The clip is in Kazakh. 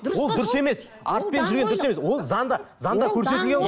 ол дұрыс емес артпен жүрген дұрыс емес ол заңда заңда көрсетілген ғой